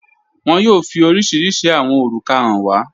Wọn yóò fi oríṣiríṣí awọn orúkà hàn wà